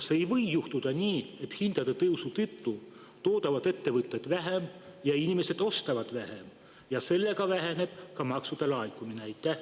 Kas ei või juhtuda nii, et hindade tõusu tõttu toodavad ettevõtted vähem ja inimesed ostavad vähem ja seetõttu väheneb ka maksude laekumine?